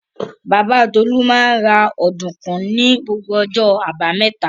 Bàbá Tolú máa ń ra ọ̀dùnkún ní gbogbo ọjọ́ àbámẹ́ta.